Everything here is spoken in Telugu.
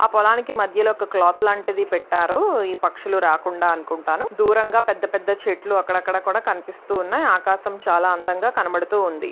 ఆ పొలానికి మధ్యలో ఒక క్లాత్ లాంటిది పెట్టారు. ఈ పక్షులు రాకుండా అనుకుంటా. దూరంగా పెద్ద పెద్ద చెట్లు అక్కడక్కడ కూడా కనిపిస్తున్నాయి. ఆకాశం చాలా అందంగా కనబడుతూ ఉంది.